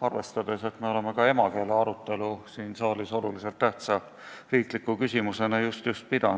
arvestades, et meil on just-just siin saalis olnud olulise tähtsusega riikliku küsimusena arutelu emakeele teemal.